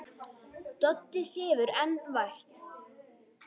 Doddi sefur enn vært.